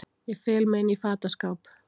Ég fel mig inní fataskáp.